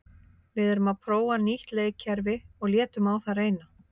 Við erum að prófa nýtt leikkerfi og létum reyna á það.